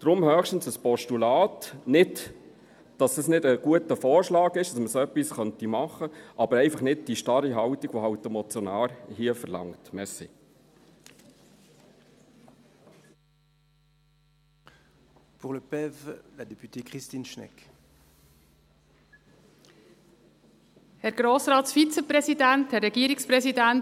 Daher höchstens ein Postulat – nicht, dass es nicht ein guter Vorschlag ist, dass man so etwas machen könnte, aber einfach nicht mit dieser starren Haltung, die der Motionär hier verlangt.